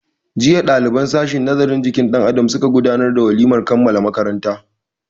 Jiya ɗaliban sashin nazarin jikin dan Adam suka gudanar da walimar kammala makaranta.